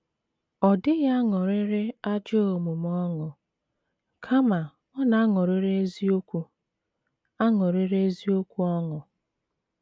Ọ dịghị aṅụrịrị ajọ omume ọṅụ, kama ọ na - aṅụrịrị eziokwu - aṅụrịrị eziokwu ọṅụ.